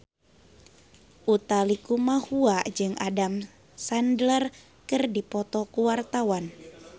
Utha Likumahua jeung Adam Sandler keur dipoto ku wartawan